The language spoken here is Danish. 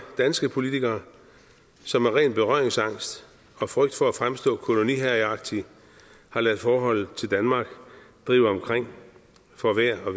danske politikere som af ren berøringsangst og frygt for at fremstå koloniherreagtige har ladet forholdet til danmark drive omkring for vejr og